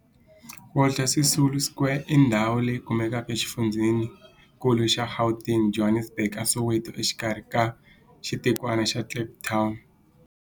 Walter Sisulu Square i ndhawu leyi kumekaka exifundzheni-nkulu xa Gauteng, Johannesburg, a Soweto, exikarhi ka xitikwana xa Kliptown.